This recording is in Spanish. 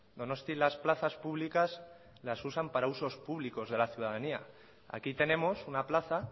donostia las plazas públicas las usan para usos públicos de la ciudadanía aquí tenemos una plaza